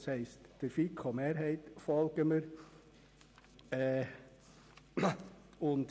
Das heisst, wir folgen der FiKo-Mehrheit.